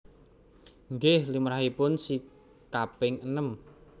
Nggih limrahipun si kaping enem